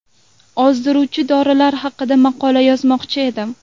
Ozdiruvchi dorilar haqida maqola yozmoqchi edim.